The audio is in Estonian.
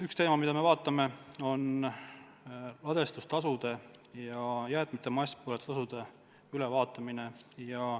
Üks teema, mida me vaatame, on ladestustasude ja jäätmete masspõletamise tasude ülevaatamine.